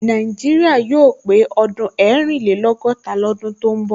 Nàìjíríà yóò pé ọdún ẹrìnlẹ́lọ́gọ́ta ní ọdún tó ń bọ̀